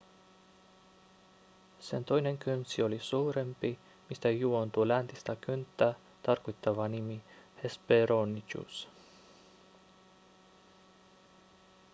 sen toinen kynsi oli suurempi mistä juontuu läntistä kynttä tarkoittava nimi hesperonychus